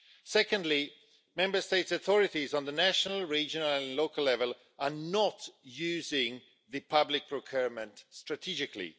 Secondly, Member States' authorities on a national, regional and local level are not using public procurement strategically.